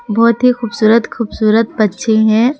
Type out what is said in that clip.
बहुत ही खूबसूरत खूबसूरत पक्षी हैं।